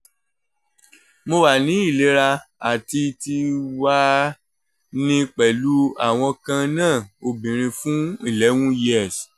mo wa ni ilera ati ti wa ni pẹlu awọn kanna obinrin fun eleven years